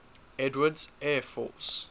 edwards air force